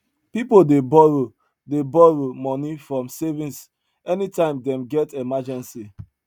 people dey borrow dey borrow money from savings anytime them get emergency